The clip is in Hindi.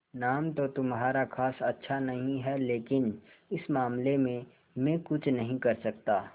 नाम तो तुम्हारा खास अच्छा नहीं है लेकिन इस मामले में मैं कुछ नहीं कर सकता